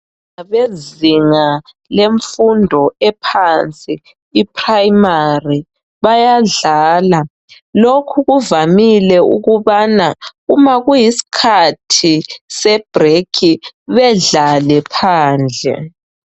Ngabezinga lemfundo ephansi iprayimari bayadlala. Lokhu kuvamile ukubana uma kuyisikhathi sebrekhi bedlale phandle.